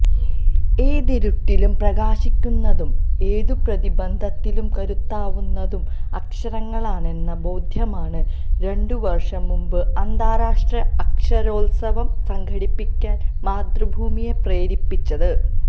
ഏതിരുട്ടിലും പ്രകാശിക്കുന്നതും ഏതുപ്രതിബന്ധത്തിലും കരുത്താവുന്നതും അക്ഷരങ്ങളാണെന്ന ബോധ്യമാണ് രണ്ടുവർഷംമുമ്പ്്് അന്താരാഷ്ട്ര അക്ഷരോത്സവം സംഘടിപ്പിക്കാൻ മാതൃഭൂമിയെ പ്രേരിപ്പിച്ചത്